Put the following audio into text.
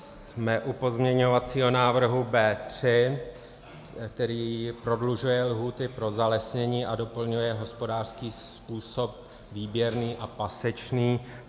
Jsme u pozměňovacího návrhu B3, který prodlužuje lhůty pro zalesnění a doplňuje hospodářský způsob výběrný a pasečný.